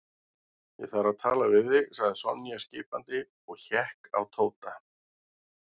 Ég þarf að tala við þig sagði Sonja skipandi og hékk á Tóta.